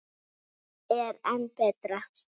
Sem er enn betra.